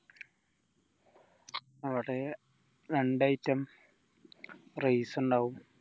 അവിടെ രണ്ട item rice ഇണ്ടാവും